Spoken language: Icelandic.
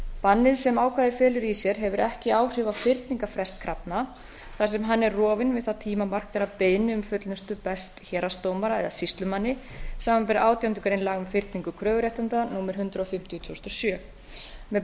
bannið sem ákvæðið felur í sér hefur ekki áhrif á fyrningarfrest krafna þar sem hann er rofinn við það tímamark þegar beiðni um fullnustu berst héraðsdómara eða sýslumanni samanber átjándu grein laga um fyrningu kröfuréttinda númer hundrað fimmtíu tvö þúsund og sjö með